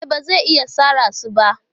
E, ba zai iya sare su ba.